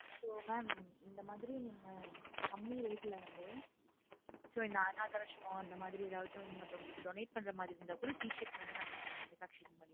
so mam இந்த மாதிரி கம்மி rate ல வந்து ஹம் உம் இப்ப இந்த அனாதை ஆஸ்ரமம் மாதிரி மத்தவங்களுக்கு donate பண்ற மாதிரி t-shirt வந்து நாங்க இங்க manufacturing